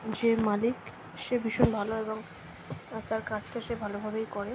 যে মালিক সে ভীষণ ভালো এবং তার কাজটা সে ভালোভাবেই করে।